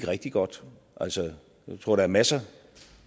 rigtig godt altså jeg tror der er masser